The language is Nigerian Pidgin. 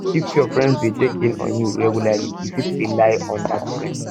if your friends de check in on you regularly you fit rely on dat friend